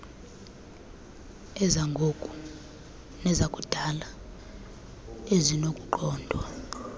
ezangoku nezakudala ezinokuqondwa